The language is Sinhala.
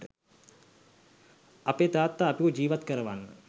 අපේ තාත්තා අපිව ජීවත් කරවන්න